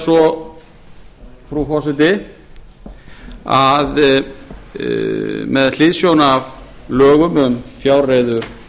svo frú forseti að með hliðsjón af lögum um fjárreiður